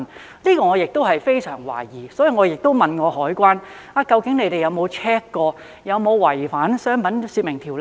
這一點我亦非常懷疑，所以亦問過海關究竟有否 check 過這有否違反《商品說明條例》？